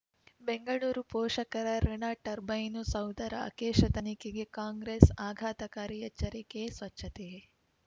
ಬೆಂಗಳೂರು ಪೋಷಕರಋಣ ಟರ್ಬೈನು ಸೌಧ ರಾಕೇಶ ತನಿಖೆಗೆ ಕಾಂಗ್ರೆಸ್ ಆಘಾತಕಾರಿ ಎಚ್ಚರಿಕೆ ಸ್ವಚ್ಛತೆ